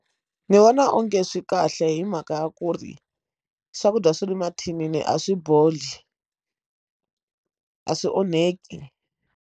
Ndzi vona onge swi kahle hi mhaka ya ku ri swakudya swa le mathinini a swi boli a swi onheki.